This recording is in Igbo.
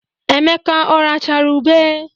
Emeka ọ rachara ube?